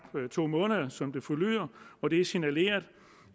to måneder som det forlyder og det er signaleret